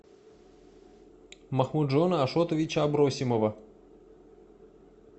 махмуджона ашотовича абросимова